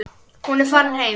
Hún er farin heim.